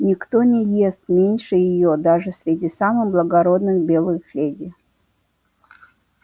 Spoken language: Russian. никто не ест меньше её даже среди самых благородных белых леди